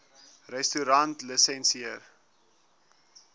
restaurantlisensier